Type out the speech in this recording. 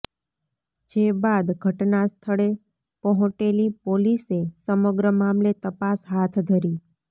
જે બાદ ઘટનાસ્થળે પહોંટેલી પોલીસે સમગ્ર મામલે તપાસ હાથ ધરી